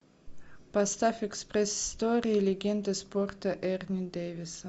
поставь экспресс история легенды спорта эрни дэвиса